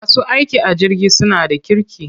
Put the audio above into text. Masu aiki a jirgi suna da kirki.